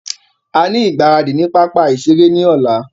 A ní igbaradì ní pápá ìṣeré ní ọ̀la.